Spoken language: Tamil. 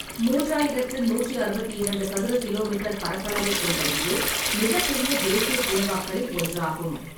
மூன்றாயிரத்து நூற்று அறுபத்திரண்டு சதுர கிலோமீட்டர் பரப்பளவைக் கொண்ட இது மிகப்பெரிய தேசிய பூங்காக்களில் ஒன்றாகும்.